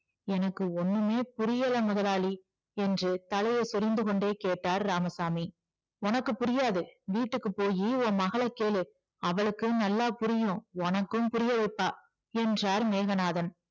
எனக்கு ஒண்ணுமே புரியல முதலாளி என்று தலையை சொரிந்து கொண்டே கேட்டார் இராமசாமி உனக்கு புரியாது வீட்டுக்கு போயி உன் மகளை கேளு அவளுக்கு நல்லா புரியும் உனக்கும் புரிய வைப்பா என்றார் மேகநாதன்